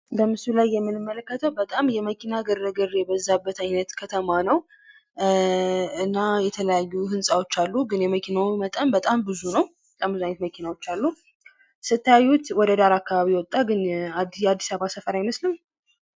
በምስሉ ላይ የምንመለከተው በጣም የመኪና ግርግር የበዛበት አይነት ከተማ ነው ::እና የተለያዩ ህንፃዎች አሉ ግን የመኪናው መጠን በጣም በዙ ነው ::ስታዩት ወደዳር አካባቢ የወጣ ያአድስአበባ ሰፈር አይመስልም?